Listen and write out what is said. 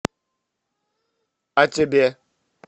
а тебе